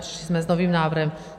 Přišli jsme s novým návrhem.